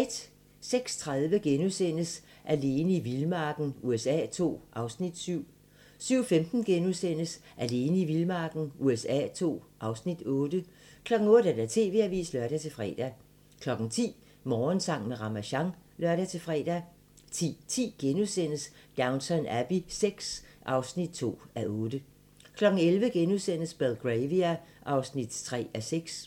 06:30: Alene i vildmarken USA II (Afs. 7)* 07:15: Alene i vildmarken USA II (Afs. 8)* 08:00: TV-avisen (lør-fre) 10:00: Morgensang med Ramasjang (lør-fre) 10:10: Downton Abbey VI (2:8)* 11:00: Belgravia (3:6)*